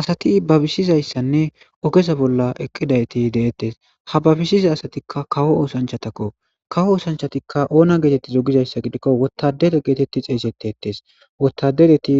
Asathi babisizayssanne ogeza bolla eqqiza ethi de7eeththes; ha babisiza asathikka kawo oosanchchathakkoo; kawo oosanchchathikka oona geetheththi gizayssa gidikko woththadara geetheththi xeeseththeetthees; woththarethi